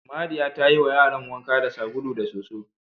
Mariya ta yiwa yaran wanka da sabulu da soso.